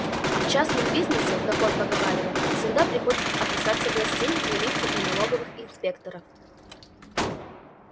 а в частном бизнесе как он поговаривал всегда приходится опасаться властей милиции и налоговых инспекторов